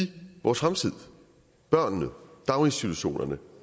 vores fremtid børnene daginstitutionerne